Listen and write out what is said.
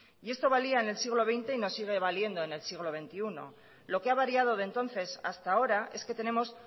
y esto valía en el siglo veinte y nos sigue valiendo en el siglo veintiuno lo que ha variado de entonces hasta ahora es que tenemos